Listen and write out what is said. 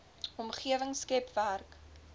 omgewing skep werk